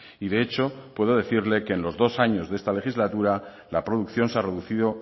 y de hecho puedo decirle que en los dos años de esta legislatura la producción se ha reducido